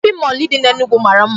Shopping mall dị n'Enugu mara mma.